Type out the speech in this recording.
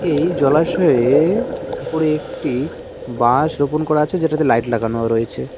এই জলাশয়ে ওপরে একটি বাঁশ রোপন করা আছে যেটাতে লাইট লাগানোও রয়েছে।